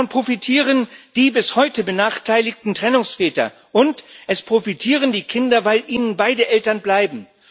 Davon profitieren die bis heute benachteiligten Trennungsväter, und es profitieren die Kinder, weil ihnen beide Eltern bleiben.